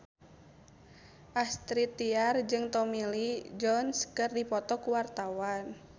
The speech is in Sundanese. Astrid Tiar jeung Tommy Lee Jones keur dipoto ku wartawan